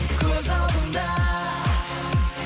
көз алдымда